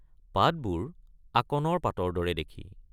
পাতবোৰ আকণৰ পাতৰ দৰে দেখি।